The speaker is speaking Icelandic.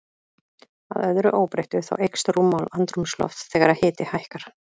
Að öðru óbreyttu, þá eykst rúmmál andrúmslofts þegar hiti hækkar.